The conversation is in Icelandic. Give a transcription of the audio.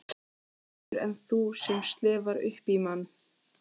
Betur en þú sem slefar upp í mann.